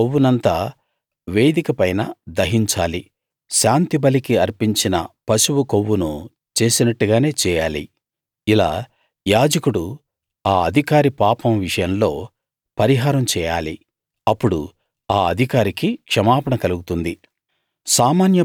దాని కొవ్వునంతా వేదిక పైన దహించాలి శాంతిబలికి అర్పించిన పశువు కొవ్వును చేసినట్టుగానే చేయాలి ఇలా యాజకుడు ఆ అధికారి పాపం విషయంలో పరిహారం చేయాలి అప్పుడు ఆ అధికారికి క్షమాపణ కలుగుతుంది